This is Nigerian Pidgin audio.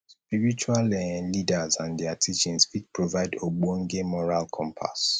spiritual um leaders and their teachings fit provide ogbonge moral compass